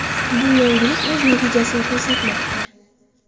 Bu yangilik o‘z natijasini ko‘rsatmoqda.